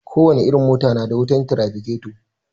Ko wace irin mota na da wutar tirafiketo